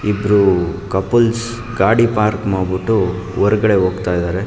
ಇಬ್ರು ಕಪಲ್ಸ್ ಗಾಡಿ ಪಾರ್ಕ್ ಮಾಡ್ಬಿಟ್ಟು ಹೊರಗಡೆ ಹೋಗ್ತಾ ಇದ್ದಾರೆ.